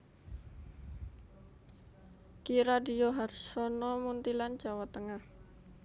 Ki Radyo Harsono Muntilan Jawa Tengah